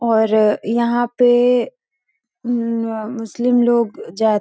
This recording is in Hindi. और यहाँ पे उम्म अ मुसलिम लोग --